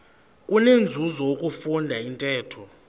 kunenzuzo ukufunda intetho